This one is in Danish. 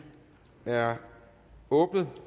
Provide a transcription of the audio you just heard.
er åbnet